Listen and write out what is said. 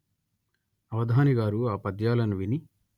అవధానిగారు ఆ పద్యాలను విని